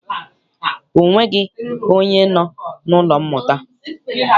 Ọ nweghị onye nọ n'ụlọ mmụta.